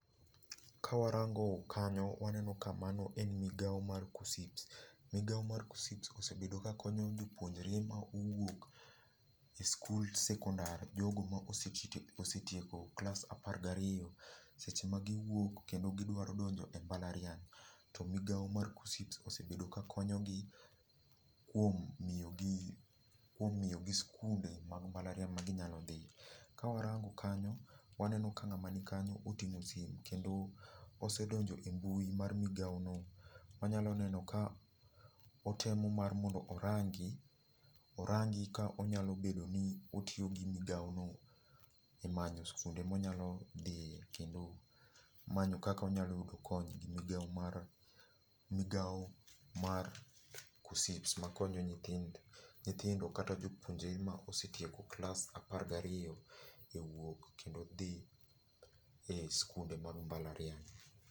Ka warango kanyo waneno ka mano en migao mar KUCCPS. Migao mar KUCCPS osebedo kakonyo jopuonjore ma owuok e sikund sekondar, jogo ma osetieko klas apar gi ariyo, seche ma giwuok kendo gidwaro donjo e mbalariany, to migao mar KUCCPS osebedo ka konyo gi kuom miyo gi, kuom miyo gi sikunde mag mbalariany ma ginyalo dhie. Ka warango kanyo, waneno ka ng'ama ni kanyo oting'o sime kendo osedonjo e mbui mar migao no. Wanyalo neno ka otemo mar mondo orangi, orangi ka onyalo bedo ni otiyo gi migao no e manyo sikunde monyalo dhie kendo manyo kaka onyalo yudo konyo gi migao mar, migao mar KUCCPS makonyo nyithindo kata jopuonjre ma osetieko klas apar gi ariyo e wuok kendo dhi e skunde mag mbalariany.